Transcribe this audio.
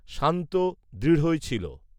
শান্ত দৃঢ়ই ছিলো